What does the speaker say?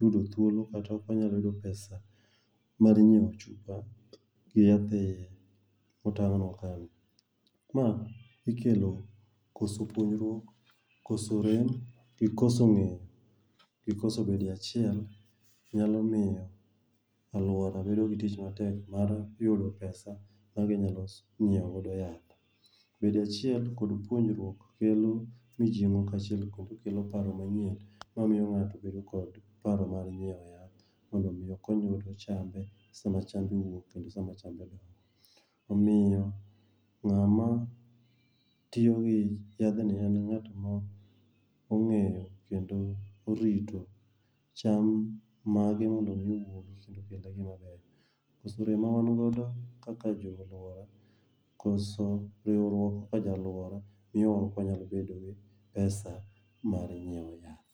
yudo thuolo kata ok wanyal yudo pesa mar nyiewo chupa gi yath e iye ,motang'nwa ka ni. Ma ikelo ,koso puonjruok, koso rem gi koso ng'eyo gi koso bedo e achiel, nyalo miyo alwora bedo gi tich matek mar yudo pesa maginyalo nyiewo godo yath. Bedo e achiel kod puonjruok kelo mijing'o kaachiel kod kelo paro manyien mamiyo ng'ato bedo kod paro mar nyiwo yath mondo omi okony godo chambe sama chmbe owuok kendo sama chambe dongo. Omiyo ng'ama tiyo gi yadhni en ng'at ma ong'eyo kendo orito cham mage mondo omi owuog kendo maber, mawan godo kaka jonyoluoro, koso riwruok e alwora miyo wan ok wanyal bedo gi pesa mar nyiewo yath.